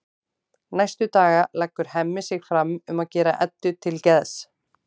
Næstu daga leggur Hemmi sig fram um að gera Eddu til geðs.